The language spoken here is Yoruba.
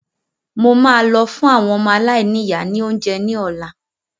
Mo máa lọ fun àwọn ọmọ aláìníya ni oúnjẹ ní ọ̀la